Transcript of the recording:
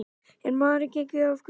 Er maðurinn genginn af göflunum?